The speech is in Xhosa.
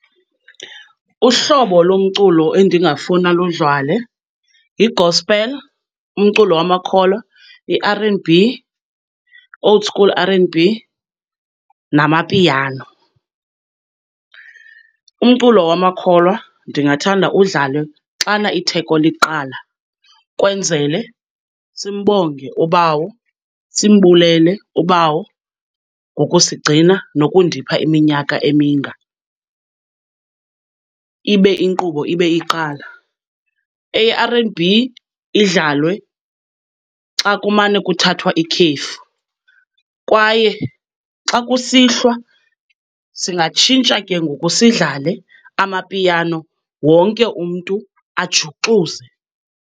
Uhlobo lomculo endingafuna ludlale yi-gospel, umculo wamakholwa, i-R and B, old school R and B, namapiano. Umculo wamakholwa ndingathanda udlale xana itheko liqala kwenzele simbonge ubawo, simbulele ubawo ngokusigcina nokundipha iminyaka eminga, ibe inkqubo ibe iqala. Eye-R and B idlalwe xa kumane kuthathwa ikhefu. Kwaye xa kusihlwa, singatshintsha kengoku sidlale Amapiano, wonke umntu ajuxuze.